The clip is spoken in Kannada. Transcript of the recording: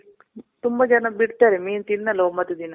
ತುಂಬ ಜನ ಬಿಡ್ತಾರೆ. ಮೀನ್ ತಿನ್ನಲ್ಲ ಒಂಬತ್ತು ದಿನ.